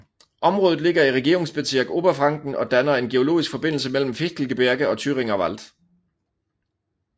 Området ligger i Regierungsbezirk Oberfranken og danner en geologisk forbindelse mellem Fichtelgebirge og Thüringer Wald